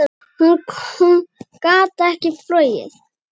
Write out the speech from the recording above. Þá gat hún ekki flogið.